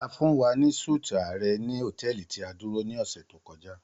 A fun wa ni súti ààrẹ ni hotẹẹli ti a duro ni ọ̀ṣẹ̀ to kọja.